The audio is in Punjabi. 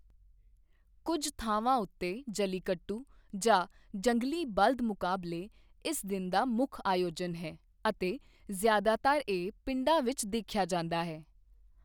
ਕੁੱਝ ਥਾਵਾਂ ਉੱਤੇ, ਜਲੀਕੱਟੂ, ਜਾਂ ਜੰਗਲੀ ਬਲਦ ਮੁਕਾਬਲੇ, ਇਸ ਦਿਨ ਦਾ ਮੁੱਖ ਆਯੋਜਨ ਹੈ ਅਤੇ ਜ਼ਿਆਦਾਤਰ ਇਹ ਪਿੰਡਾਂ ਵਿੱਚ ਦੇਖਿਆ ਜਾਂਦਾ ਹੈ।